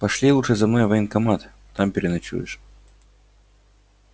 пошли лучше за мной в военкомат там переночуешь